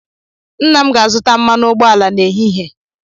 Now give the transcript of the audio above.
Nna m ga-azụta mmanụ ụgbọala n'ehihie